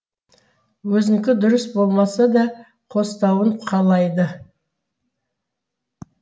өзінікі дұрыс болмаса да қостауын қалайды